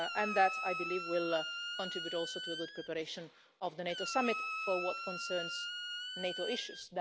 That, I believe, will contribute also to the good preparation of the NATO summit for what concerns NATO issues.